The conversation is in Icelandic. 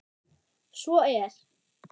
Svo er